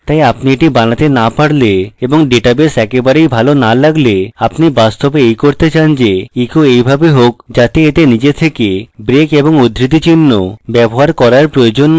তাই আপনি এটি বানাতে so পারলে এবং ডেটাবেস একেবারেই ভালো so লাগলে আপনি বাস্তবে এই করতে চান যে echo এইভাবে হোক যাতে এতে নিজে থেকে break এবং উদ্ধৃতিচিহ্ন ব্যবহার করার প্রয়োজন so হোক